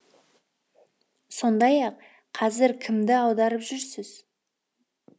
сондай ақ қазір кімді аударып жүрсіз